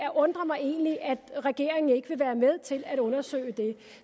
undrer mig egentlig at regeringen ikke vil være med til at undersøge det